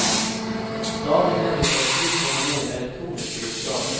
Stadig mer litteratur kommer nå i elektroniske utgaver.